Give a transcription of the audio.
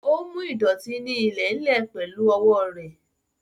Ó mú ìdọ̀tí ní ilẹ̀ ń lè pẹ̀lú owó rẹ̀